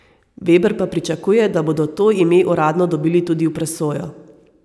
Veber pa pričakuje, da bodo to ime uradno dobili tudi v presojo.